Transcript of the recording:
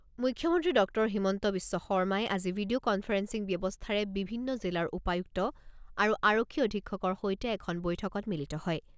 মুখ্যমন্ত্ৰী ডক্টৰ হিমন্ত বিশ্ব শৰ্মাই আজি ভিডিঅ' কনফাৰেন্সিং ব্যৱস্থাৰে বিভিন্ন জিলাৰ উপায়ুক্ত আৰু আৰক্ষী অধীক্ষকৰ সৈতে এখন বৈঠকত মিলিত হয়।